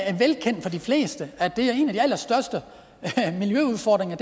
er velkendt for de fleste at det er en af de allerstørste miljøudfordringer